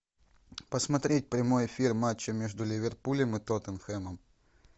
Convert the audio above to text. посмотреть прямой эфир матча между ливерпулем и тоттенхэмом